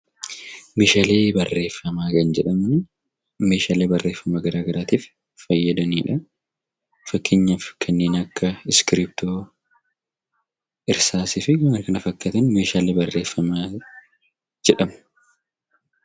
Meeshaalee barreeffamaa kan jedhamani meeshaalee barreeffamaa garaa garaatiif fayyadanidha. Fakkeenyaaf kanneen akka iskiriiptoo, irsaasii fi waan kana fakkaatan meeshaalee barreeffamaa jedhamu.